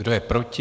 Kdo je proti?